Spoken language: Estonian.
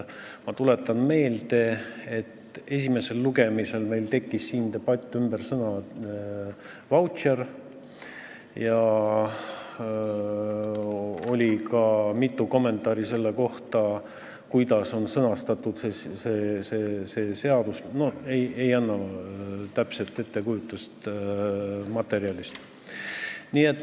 Ma tuletan meelde, et esimesel lugemisel tekkis meil siin debatt sõna "vautšer" üle ja tuli ka mitu kommentaari selle kohta, kui halvasti on see seadus sõnastatud.